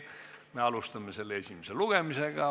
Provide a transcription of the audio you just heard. Me alustame selle esimest lugemist.